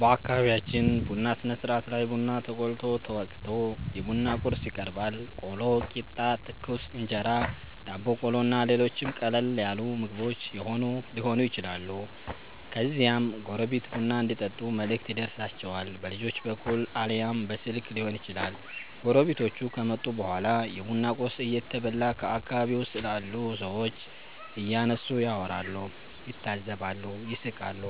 በአከቢቢያችን ቡና ስነስርአት ላይ ቡና ተቆልቶ፣ ተወቅቶ፣ የቡና ቁርስ ይቀርባል(ቆሎ፣ ቂጣ፣ ትኩስ እንጀራ፣ ዳቦ ቆሎ እና ሌሎችም ቀለል ያሉ ምግቦች የሆኑ ይችላሉ) ከዚያም ጎረቤት ቡና እንዲጠጡ መልእክት ይደርሣቸዋል። በልጆች በኩል አልያም በስልክ ሊሆን ይችላል። ጎረቤቶቹ ከመጡ በኋላ የቡና ቁርስ እየተበላ በአከባቢው ስላሉ ሠዎች እያነሱ ያወራሉ፣ ይታዘባሉ፣ ይስቃሉ።